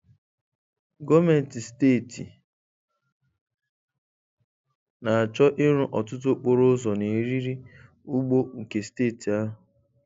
Gọọmenti steeti na-achọ ịrụ ọtụtụ okporo ụzọ na eriri ugbo nke steeti ahụ.